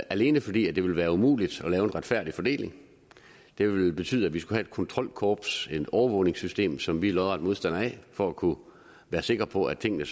alene fordi det vil være umuligt at lave en retfærdig fordeling det ville betyde at vi skulle have et kontrolkorps et overvågningssystem som vi er lodret modstander af for at kunne være sikker på at tingene